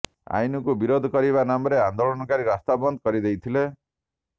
ଆଇନକୁ ବିରୋଧ କରିବା ନାମରେ ଆନ୍ଦୋଳନକାରୀ ରାସ୍ତା ବନ୍ଦ କରିଦେଇଥିଲେ